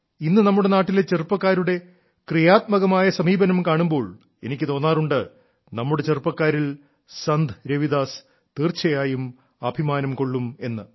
ഇന്നു നമ്മുടെ നാട്ടിലെ ചെറുപ്പക്കാരുടെ ക്രിയാത്മക സമീപനം കാണുമ്പോൾ എനിക്ക് തോന്നാറുണ്ട് നമ്മുടെ ചെറുപ്പക്കാരിൽ സന്ത് രവിദാസ് തീർച്ചയായും അഭിമാനം കൊള്ളും എന്ന്